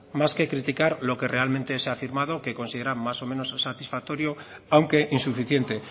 más que criticar lo que realmente se ha firmado que consideran más o menos satisfactorio aunque insuficiente